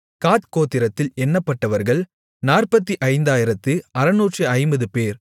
காத் கோத்திரத்தில் எண்ணப்பட்டவர்கள் 45650 பேர்